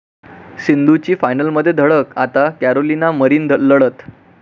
सिंधूची फायनलमध्ये धडक, आता कॅरोलिना मरिन लढत